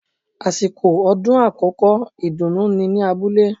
Àsìkò ọdún àkókò ìdùnú ni ní abúlé